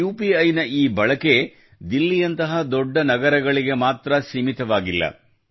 UPI ನ ಈ ಬಳಕೆಯು ದಿಲ್ಲಿಯಂತಹ ದೊಡ್ಡ ನಗರಗಳಿಗೆ ಮಾತ್ರ ಸೀಮಿತವಾಗಿಲ್ಲ